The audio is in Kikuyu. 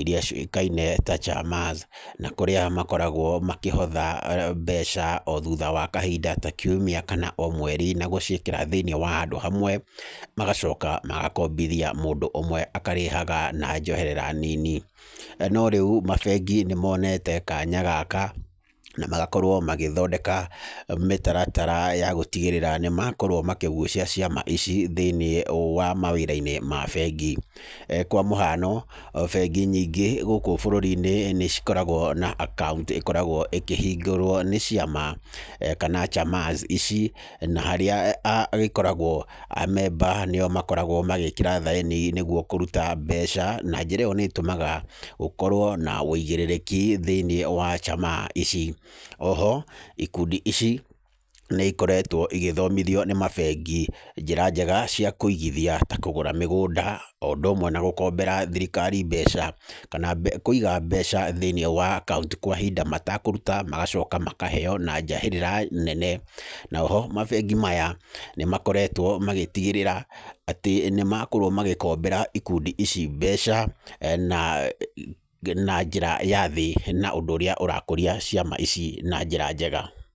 iria ciũĩkaine ta chamas, na ũrĩa makoragwo makĩhotha mbeca o thutha wa kahinda ta kiumia kana o mweri na gũciĩkĩra thĩinĩ handũ hamwe magacoka magakombithia mũndũ ũmwe akarĩhaga na njoherera nini. No rĩu mabengi nĩmonete kanya gaka, na magakorwo magĩthondeka mĩtaratara ya gũtigĩrĩra nĩmakorwo makĩgucia ciama ici thĩni-inĩ wa mawĩra ma bengi. Kwa mũhano, bengi nyingĩ gũkũ bũrũri-inĩ nĩikoragwo na akaunti ĩkoragwo ikĩhingũrwo nĩ ciama kana chamas ici, harĩa hakoragwo amemba nĩo marekĩra thaĩni nĩguo kũruta mbeca na njĩra ĩyo nĩĩtũmaga gũkorwo na ũigĩrĩrĩki thĩinĩ wa chamas ici. Oho ikundi ici nĩikoretwo igĩthomithio nĩ mabengi njĩra njega cia kũigithia ta kũgũra mĩgũnda, o ũndũ ũmwe na gũkombera thirikari mbeca kana kũiga mbeca thĩinĩ wa akaunti kwa ihinda matakũruta magacoka makaheo na njahĩrĩra nene. Na oho mabengi maya, nĩmakoretwo magĩtigĩrĩra atĩ nĩmakorwo magĩkombera ikundi ici mbeca na na njĩra ya thĩ na ũndũ ũrĩa ũrakũria ciama ici na njĩra njega.